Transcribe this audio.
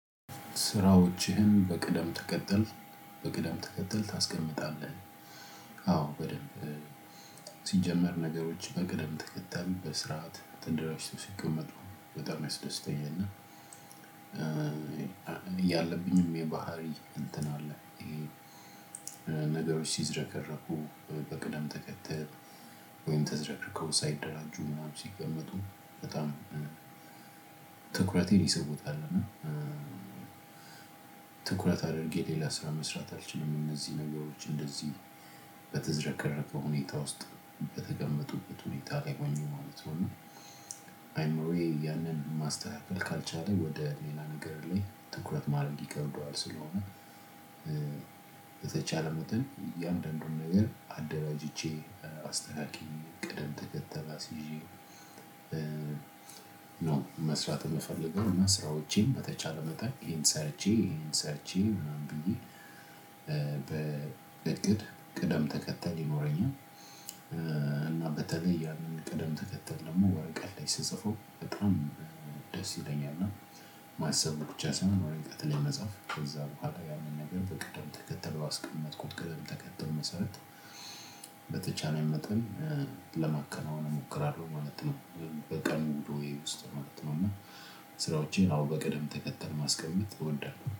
ስራዎችህን በቅደም ተከተል በቅደም ተከተል ታስቀምጣለህ? አዎ በደንብ። ሲጀመር ነገሮች በቀደም ተከተይ በስርዓት ተደራጅተው ሲቀመጡ በጣም ያስደስተኛል እና እና ያለብኝም የባህሪ እንትን አለ። ይሄ ሲዝረከረኩ በቅደም ተከተል ወይም ተዝረከርከው ሳይደራጁ ምናምን ሲቀመጡ በጣም ትኩረት የሚሰጡት አይደለም። ትኩረት አድርጌ ሌላ ስራ መስራት አልችልም። እነዚህ ነገሮች እንደዚህ በተዘረከረከ ሁኔታ ውስጥ በተቀመጡበት ሁኔታ ላይ ሁኜ ማለት ነው። እና አይምሮዬ ያንን ማስተላለፍ ካልቻለ ወደ ሌላ ነገር ላይ ትኩረት ማድረግ ይከብደዋል ስለሆነ። በተቻለ መጠን የአንዳንዱን ነገር አደራጅቼ አስተካክሌ ቅደም ተከተል አስይዤ። መስራት የምፈልገው ስራዎቼን በተቻለ መጠን ሰርቼ ይሄን ሰርቼ ምናምን ብዬ በእቅድ ቅደም ተከተል ይኖረኛል። እና በተለይ ያንን ቅደም ተከተል ደግሞ ወረቀት ላይ ስፅፈው በጣም ደስ ይለኛል። እና ማሰቡ ብቻ ሳይሆን ወረቀት ላይ መጽሐፍ ከዛ በኋላ ያንን ነገር በቅደም ተከተል ባስቀመጥኩት ቅደም ተከተል መሰረት በተቻለኝ መጠን ለማከናወን እሞክራለሁ ማለት ነው። በቀን ውሎየ ውስጥ ነው ማለት ነው። እና ስራወቼን በቀደም ተከተል ማስቀመጥ እወዳለሁ